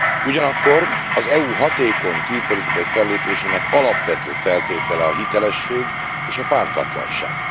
Ugyanakkor az EU hatékony külpolitikai fellépésének alapvető feltétele a hitelesség és a pártatlanság.